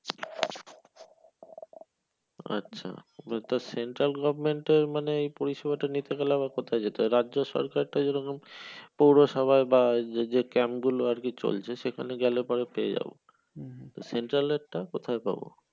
আচ্ছা তো central government এর মানে এই পরিষেবাটা নিতে গেলে আবার কোথায় যেতে হবে? রাজ্য সরকারের টা যেরকম পৌরসভা বা যে যে camp গুলো আরকি চলছে সেখানে গেলে পরে পেয়ে যাবো। central এর টা কোথায় পাবো?